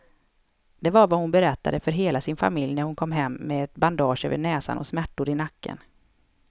Det var vad hon berättade för hela sin familj när hon kom hem med ett bandage över näsan och smärtor i nacken.